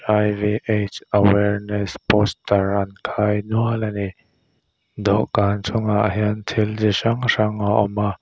awareness poster an khai nual ani dawhkan chung ah hian thil chi hrang hrang a awm a.